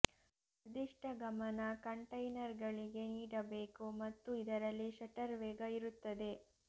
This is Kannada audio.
ನಿರ್ದಿಷ್ಟ ಗಮನ ಕಂಟೈನರ್ಗಳಿಗೆ ನೀಡಬೇಕು ಮತ್ತು ಇದರಲ್ಲಿ ಶಟರ್ ವೇಗ ಇರುತ್ತದೆ